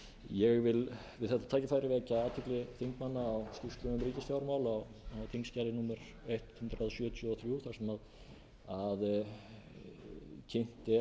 ég vil við þetta tækifæri vekja athygli þingmanna á skýrslu um ríkisfjármál á þingskjali hundrað sjötíu og þrjú þar sem kynnt er